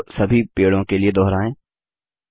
इस कार्य को सभी पेड़ों के लिए दोहराएँ